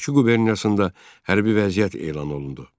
Bakı quberniyasında hərbi vəziyyət elan olundu.